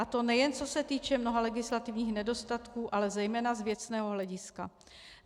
A to nejen co se týče mnoha legislativních nedostatků, ale zejména z věcného hlediska.